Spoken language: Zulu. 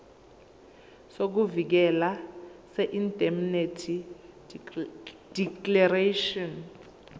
sokuvikeleka seindemnity declaration